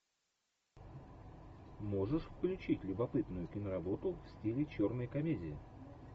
можешь включить любопытную киноработу в стиле черной комедии